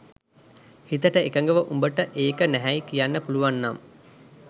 හිතට එකඟව උඹට ඒක නැහැයි කියන්න පුලුවන්නම්